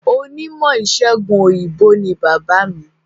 Onímọ̀ ìsègùn òyìnbó ni bàbáà mi.